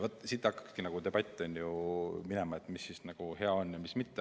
Vaat siit hakkabki debatt ju minema, et mis siis on hea ja mis mitte.